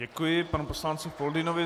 Děkuji panu poslanci Foldynovi.